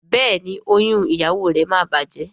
Béèni oyún ìyàwó rẹ má bàjé.